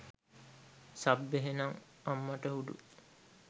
Sub එහෙනම්! අම්මටහුඩු.